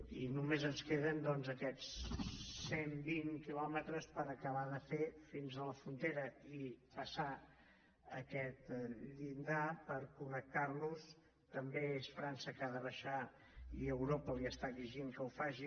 i només ens queden doncs aquests cent vint quilòmetres per acabar de fer fins a la frontera i passar aquest llindar per connectarnos també és frança que ha de baixar i europa li està exigint que ho faci